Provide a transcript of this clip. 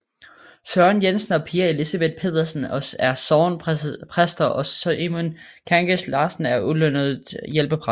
Søren Jensen og Pia Elisabeth Pedersen er sognepræster og Simon Kangas Larsen er ulønnet hjælpepræst